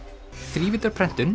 þrívíddarprentun